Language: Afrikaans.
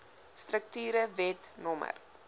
strukture wet no